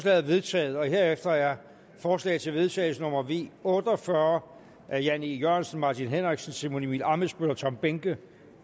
er vedtaget herefter er forslag til vedtagelse nummer v otte og fyrre af jan e jørgensen martin henriksen simon emil ammitzbøll og tom behnke